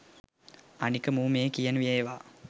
අනික මූ මේ කියන ඒවා